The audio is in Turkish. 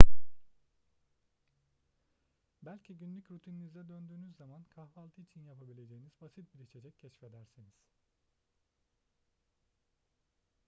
belki günlük rutininize döndüğünüz zaman kahvaltı için yapabileceğiniz basit bir içecek keşfedersiniz